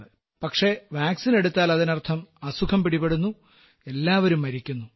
പക്ഷേ വാക്സിൻ എടുത്താൽ അതിനർത്ഥം അസുഖം പിടിപെടുന്നു എല്ലാവരും മരിക്കുന്നു